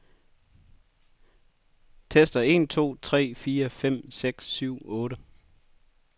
Tester en to tre fire fem seks syv otte.